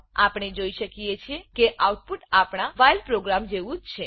આપણે જોઈ શકીએ છે કે આઉટપુટ આપણા વ્હાઇલ વાઇલ પ્રોગ્રામ જેવું જ છે